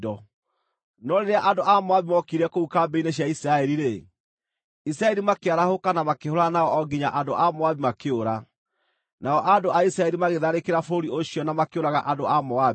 No rĩrĩa andũ a Moabi mookire kũu kambĩ-inĩ cia Isiraeli-rĩ, Isiraeli makĩarahũka na makĩhũũrana nao o nginya andũ a Moabi makĩũra. Nao andũ a Isiraeli magĩtharĩkĩra bũrũri ũcio na makĩũraga andũ a Moabi.